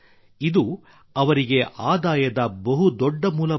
ಇದು ಅವರಿಗೆ ಆದಾಯದ ಬಹು ದೊಡ್ಡ ಮೂಲವಾಗಿವೆ